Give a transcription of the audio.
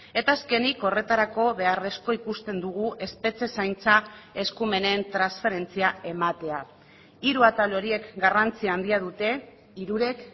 eta azkenik horretarako beharrezkoa ikusten dugu espetxe zaintza eskumenen transferentzia ematea hiru atal horiek garrantzi handia dute hirurek